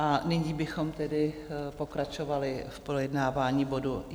A nyní bychom tedy pokračovali v projednávání bodu